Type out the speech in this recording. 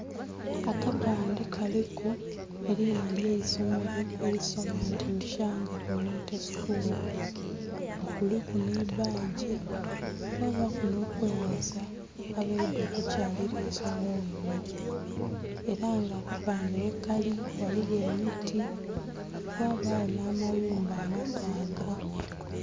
Akapande kaliku erinha eryaisomero erisoma nti "Ishanga community school" nga kuliku n'ebbagi kwabaku n'okwebaza abaidha okukyalira eisomero lino, era nga akapande wekali ghaligho emiti ghabagho n'ayumba amataaga.